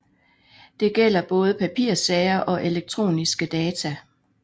Det gælder både papirsager og elektroniske data